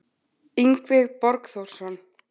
Yngvi Borgþórsson